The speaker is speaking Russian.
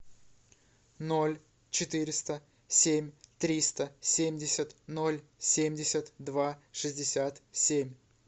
ноль четыреста семь триста семьдесят ноль семьдесят два шестьдесят семь